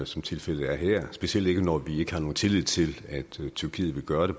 som tilfældet er her specielt ikke når vi ikke har nogen tillid til at tyrkiet vil gøre det